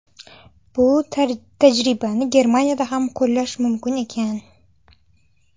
Bu tajribani Germaniyada ham qo‘llash mumkin ekan.